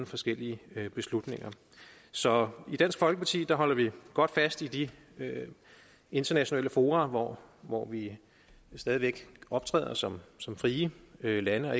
forskellige beslutninger så i dansk folkeparti holder vi godt fast i de internationale fora hvor hvor vi stadig væk optræder som som frie lande og